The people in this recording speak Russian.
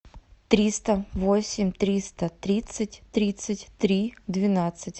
триста восемь триста тридцать тридцать три двенадцать